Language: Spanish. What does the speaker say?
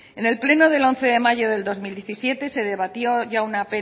en el pleno del once de mayo de dos mil diecisiete se debatió ya